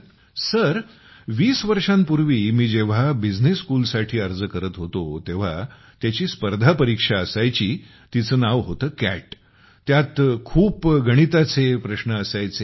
गौरव sir वीस वर्षांपूर्वी जेव्हा मी बिझनेस स्कूल साठी अर्ज करत होतो तेव्हा त्याची स्पर्धा परीक्षा असायची जिचे नाव होते कॅट । त्यात खूप सारे गणिताचे प्रश्न असायचे